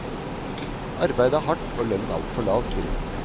Arbeidet er hardt og lønnen altfor lav, sier hun.